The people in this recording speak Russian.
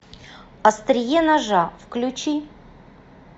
острие ножа включи